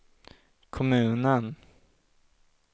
kommunen